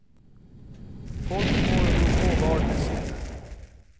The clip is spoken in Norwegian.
Folk må jo få varene sine.